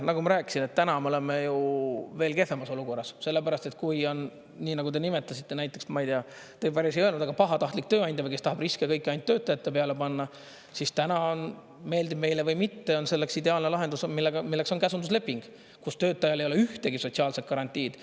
Nagu ma rääkisin, et täna me oleme ju veel kehvemas olukorras, sellepärast et kui on nii, nagu te nimetasite, näiteks, ma ei tea, te päris ei öelnud, aga pahatahtlik tööandja, kes tahab riske kõiki ainult töötajate peale panna, siis täna on, meeldib meile või mitte, on selleks ideaalne lahendus, milleks on käsundusleping, kus töötajal ei ole ühtegi sotsiaalset garantiid.